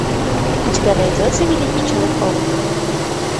у тебя найдется великий человек паук